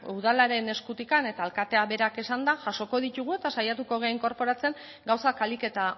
udalaren eskutik eta alkateak berak esanda jasoko ditugu eta saiatuko gara inkorporatzen gauzak ahalik eta